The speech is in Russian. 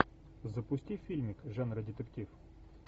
запусти фильмик жанра детектив